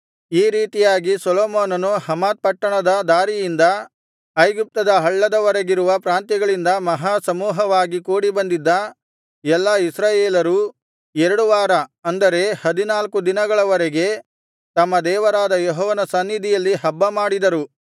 ಈ ರೀತಿಯಾಗಿ ಸೊಲೊಮೋನನು ಹಮಾತ್ ಪಟ್ಟಣದ ದಾರಿಯಿಂದ ಐಗುಪ್ತದ ಹಳ್ಳದ ವರೆಗಿರುವ ಪ್ರಾಂತ್ಯಗಳಿಂದ ಮಹಾ ಸಮೂಹವಾಗಿ ಕೂಡಿಬಂದಿದ್ದ ಎಲ್ಲಾ ಇಸ್ರಾಯೇಲರೂ ಎರಡು ವಾರ ಅಂದರೆ ಹದಿನಾಲ್ಕು ದಿನಗಳ ವರೆಗೆ ತಮ್ಮ ದೇವರಾದ ಯೆಹೋವನ ಸನ್ನಿಧಿಯಲ್ಲಿ ಹಬ್ಬಮಾಡಿದರು